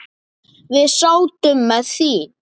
Við sátum með því.